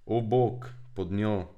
O, bog, pod njo.